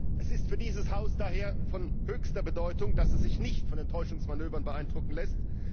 Es ist für dieses Haus daher von höchster Bedeutung, dass es sich nicht von diesen Täuschungsmanövern beeindrucken lässt.